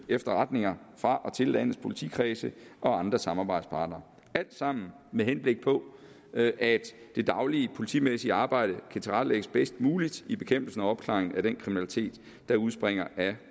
efterretninger fra og til landets politikredse og andre samarbejdspartnere alt sammen med henblik på at det daglige politimæssige arbejde kan tilrettelægges bedst muligt i bekæmpelsen og opklaringen af den kriminalitet der udspringer af